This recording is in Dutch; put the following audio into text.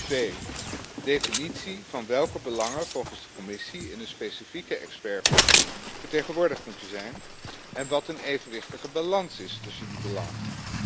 Twee definitie van welke belangen volgens de Commissie in de specifieke expertgroep vertegenwoordigd moeten zijn en wat een evenwichtige balans is tussen die belangen.